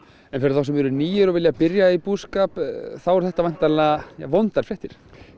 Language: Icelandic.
en fyrir þá sem eru nýir og vilja byrja í búskap þá eru þetta væntanlega vondar fréttir